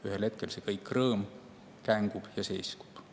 Ühel hetkel kõik see rõõm kängub ja seiskub.